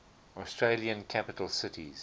australian capital cities